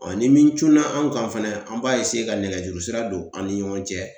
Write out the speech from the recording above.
ni min cunna an kan fɛnɛ, an b'a ka nɛgɛjuru sira don an ni ɲɔgɔn cɛ.